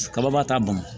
Kaba t'a ban